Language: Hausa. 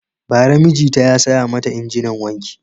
Bara mijita ya saya mata injinin wanki.